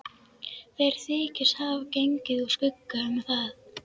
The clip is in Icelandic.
Þeir þykjast hafa gengið úr skugga um það.